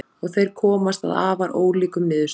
Og þeir komast að afar ólíkum niðurstöðum.